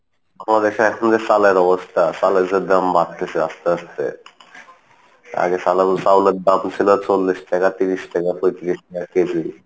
বাংলাদেশে এখন যে চালের অবস্থা চালের যে দাম বাড়তিছে আস্তে আস্তে আগে চাউলের দাম ছিলো চল্লিশ টাকা তিরিশ টাকা কেজি,